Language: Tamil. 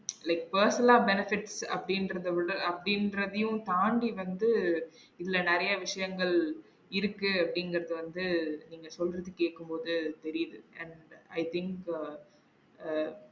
Like personal benefits அப்டிங்குரத விட அப்டிங்குரதையும் தாண்டி வந்து உள்ள நெறைய விஷயங்கள் இருக்கு அப்டிங்குரத வந்து நீங்க சொல்றத கேக்கும் போது தெரியுது and i think ah ah